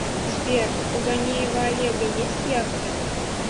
сбер у ганеева олега есть яхта